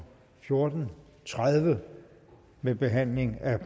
fjorten tredive med behandling af